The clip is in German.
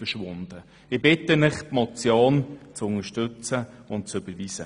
Ich bitte Sie, diese Motion zu überweisen.